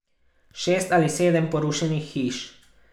Šest ali sedem porušenih hiš.